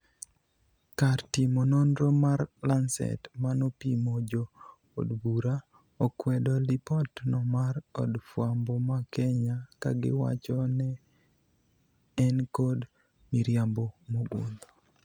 Kar timo nonro mar lancet manopimo jo od bura, okwedo lipot no mar od fwambo ma kenya kagiwachi ne enkod miriambo mogundho